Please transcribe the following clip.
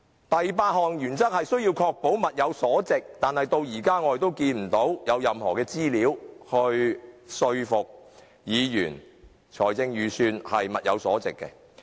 第八項原則是需要確保物有所值，可是至今我們仍看不到有任何資料能說服議員這份預算案能符合要求。